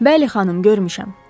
Bəli, xanım, görmüşəm.